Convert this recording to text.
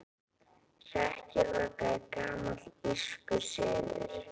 Hrekkjavaka er gamall írskur siður.